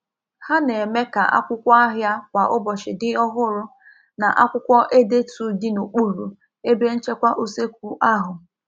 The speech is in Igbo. Ha na-eme ka akwụkwọ ahịa kwa ụbọchị dị ọhụrụ na akwụkwọ edetu dị n'okpuru ebe nchekwa usekwu ahụ.